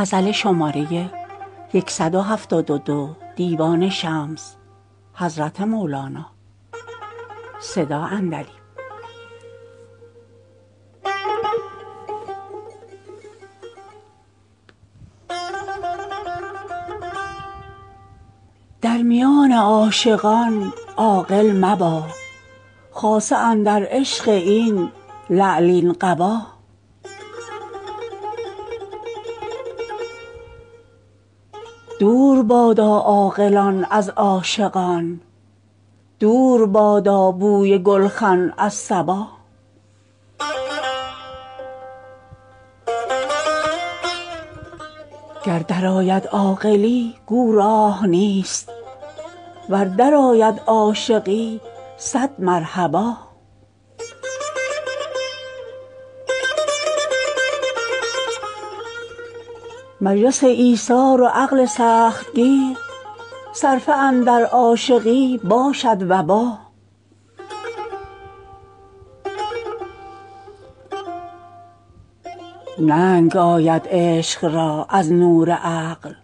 در میان عاشقان عاقل مبا خاصه اندر عشق این لعلین قبا دور بادا عاقلان از عاشقان دور بادا بوی گلخن از صبا گر درآید عاقلی گو راه نیست ور درآید عاشقی صد مرحبا مجلس ایثار و عقل سخت گیر صرفه اندر عاشقی باشد وبا ننگ آید عشق را از نور عقل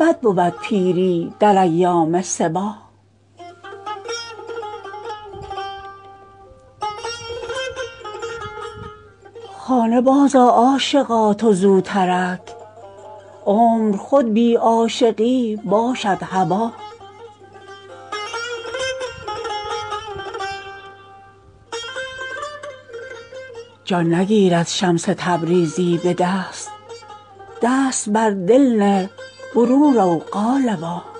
بد بود پیری در ایام صبا خانه بازآ عاشقا تو زوترک عمر خود بی عاشقی باشد هبا جان نگیرد شمس تبریزی به دست دست بر دل نه برون رو قالبا